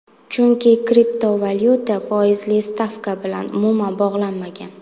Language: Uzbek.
Chunki kriptovalyuta foizli stavka bilan umuman bog‘lanmagan.